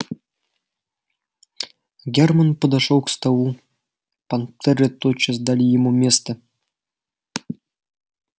германн подошёл к столу понтёры тотчас дали ему место